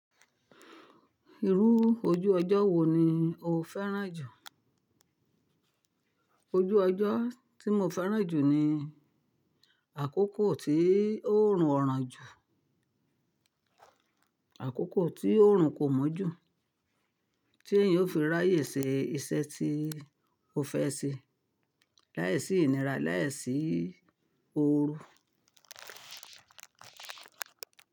Irú ojú ọjọ́ wo ni o fẹ́ràn jù? Ojú ọjọ́ tí mo fẹ́ràn jù ni àkókò tí oòrùn o ràn jù, àkókò tí oòrùn kò mọ́ jù, tí èèyàn ó fi ráyè ṣe iṣẹ́ tí ó fẹ́ ṣe láìsí ìnira, láìsí ooru.